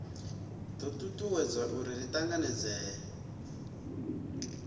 do tutuwedza uri ri tanganedzee